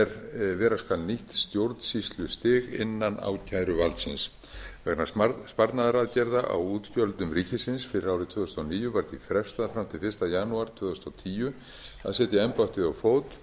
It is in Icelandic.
er vera skal nýtt stjórnsýslustig innan ákæruvaldsins vegna sparnaðaraðgerða á útgjöldum ríkisins fyrir árið tvö þúsund og níu var því frestað fram til fyrsta janúar tvö þúsund og tíu að setja embættið á fót